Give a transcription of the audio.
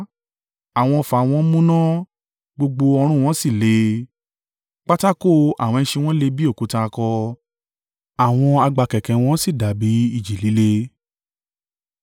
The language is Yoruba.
Àwọn ọfà wọn múná, gbogbo ọrun wọn sì le; pátákò àwọn ẹṣin wọn le bí òkúta akọ, àwọn àgbá kẹ̀kẹ́ wọn sì dàbí ìjì líle.